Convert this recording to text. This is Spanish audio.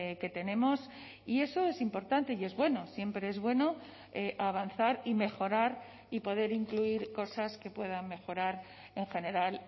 que tenemos y eso es importante y es bueno siempre es bueno avanzar y mejorar y poder incluir cosas que puedan mejorar en general